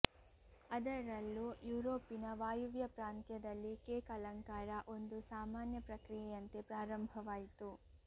ಅದರಲ್ಲೂ ಯುರೋಪಿನ ವಾಯವ್ಯ ಪ್ರಾಂತ್ಯದಲ್ಲಿ ಕೇಕ್ ಅಲಂಕಾರ ಒಂದು ಸಾಮಾನ್ಯ ಪ್ರಕ್ರಿಯೆಯಂತೆ ಪ್ರಾರಂಭವಾಯಿತು